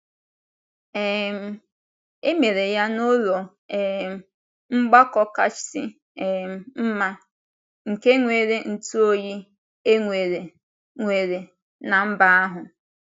um E mere ya n’ụlọ um mgbakọ kasị um mma, nke nwere ntụoyi e nwere nwere ná mba ahụ.